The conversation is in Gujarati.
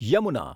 યમુના